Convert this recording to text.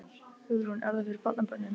Hugrún: Er það fyrir barnabörnin?